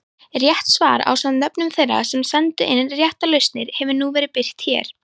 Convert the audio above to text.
Rétt svar ásamt nöfnum þeirra sem sendu inn réttar lausnir hefur nú verið birt hér.